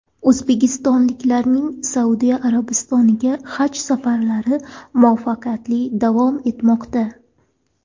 O‘zbekistonliklarning Saudiya Arabistoniga haj safarlari muvaffaqiyatli davom etmoqda.